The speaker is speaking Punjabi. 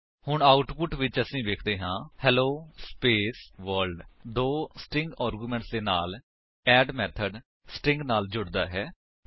ਹੁਣ ਆਉਟਪੁਟ ਵਿੱਚ ਅਸੀ ਵੇਖਦੇ ਹਾਂ ਹੇਲੋ ਸਪੇਸ ਵਰਲਡ ਦੋ ਸਟਰਿੰਗ ਆਰਗਿਉਮੇਂਟਸ ਦੇ ਨਾਲ ਅੱਡ ਮੇਥਡ ਸਟਰਿੰਗ ਨਾਲ ਜੁੜਦਾ ਹੈ